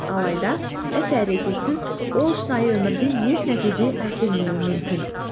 алайда іс әрекетсіз ол шынайы өмірде еш нәтиже әкелмеуі мүмкін